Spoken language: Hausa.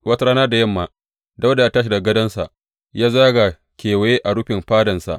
Wata rana da yamma, Dawuda ya tashi daga gadonsa, ya zaga kewaye a rufin fadansa.